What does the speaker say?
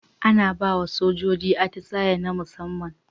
Ana bawa sojoji atisa'i na musaman